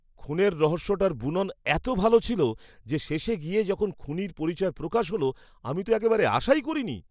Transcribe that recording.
খুনের রহস্যটার বুনন এত ভালো ছিল যে শেষে গিয়ে যখন খুনির পরিচয় প্রকাশ হলো আমি তো একেবারে আশাই করিনি!